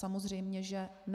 Samozřejmě že ne.